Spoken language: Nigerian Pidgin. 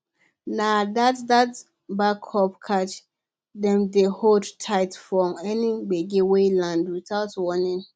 na that that backup cash dem dey hold tight for any gbege wey land without warning